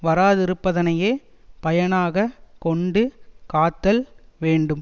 வாராதிருப்பதனையே பயனாக கொண்டு காத்தல் வேண்டும்